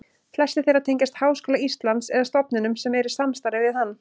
Flestir þeirra tengjast Háskóla Íslands eða stofnunum sem eru í samstarfi við hann.